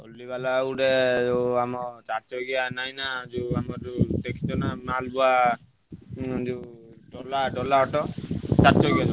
ଟଲି ବାଲା ଗୋଟେ ଯୋଉ ଆମ ଚାରିଚାକିଆ ନାହିଁ ନାଁ ଯୋଉ ଆମ ଯୋଉ ।